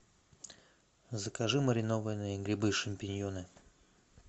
закажи маринованные грибы шампиньоны